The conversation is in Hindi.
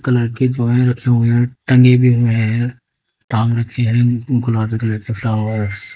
कलर के ब्वाय रखे हुए हैं टंगे भी हुए हैं टांग रखे हैं गुलाबी कलर के फ्लावर्स ।